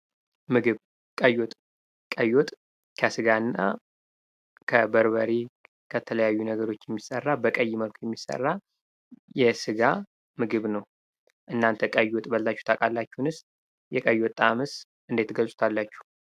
ምግብ ቀይ ወጥ:- ቀይ ወጥ ከስጋና እና ከበርበሬ ከተለያዩ ነገሮች የሚሰራ በቀይ መልኩ የሚሰራ የስጋ ምግብ ነዉ። እናተ ቀይ ወጥ በልታችሁ ታዉቃላችሁንስ? የቀይ ወጥ ጣዕሙስ እንዴት ትገልፁታላችሁ?